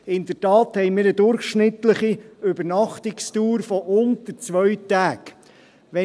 In der Tat haben wir eine durchschnittliche Übernachtungsdauer von unter zwei Tagen.